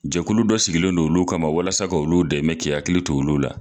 Jɛkulu dɔ sigilen don olu kama walasa ka olu dɛmɛ k'i akili to olu la